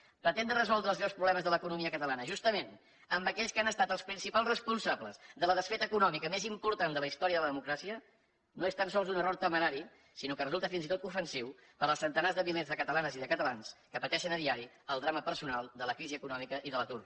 pretendre resoldre els greus problemes de l’economia catalana justament amb aquells que han estat els principals responsables de la desfeta econòmica més important de la història de la democràcia no és tan sols un error temerari sinó que resulta fins i tot ofensiu per als centenars de milers de catalanes i de catalans que pateixen a diari el drama personal de la crisi econòmica i de l’atur